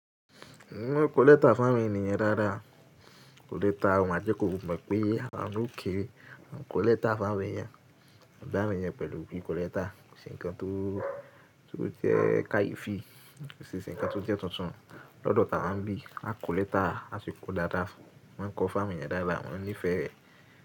Mo maa ń kọlẹ́ta fún àwọn ènìyàn dáadáa. Kọlẹ́ta ọmọ ajé kò mọ̀ pé àno òkèèrè ń kọlẹ́ta fún àwọn ènìyàn. Ìbáranìyẹn pẹ̀lú bí kọlẹ́ta ṣe nǹkan tó jẹ́ káyìí fi, ṣe nǹkan tó jẹ́ tuntun lọ́dọ̀ tawa ń bí, á kọlẹ́ta, á si kọ dáadáa fún. Wọ́n ń kọ fún àwọn ènìyàn dáadáa, wọ́n á nífẹ̀ẹ́ rẹ̀